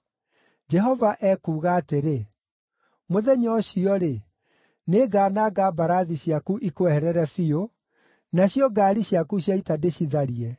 Jehova ekuuga atĩrĩ, “Mũthenya ũcio-rĩ, “nĩngananga mbarathi ciaku ikweherere biũ, nacio ngaari ciaku cia ita ndĩcitharie.